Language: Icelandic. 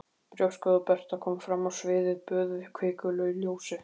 Brjóstgóða Berta kom fram á sviðið, böðuð hvikulu ljósi.